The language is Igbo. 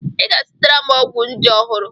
I ga-azụtara m ọgwụ nje ọhụrụ.